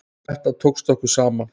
Þetta tókst okkur saman.